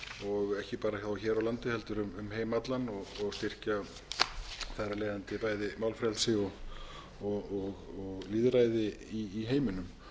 og ekki bara hér á landi heldur um heim allan og styrkja þar af leiðandi bæði málfrelsi og lýðræði í heiminum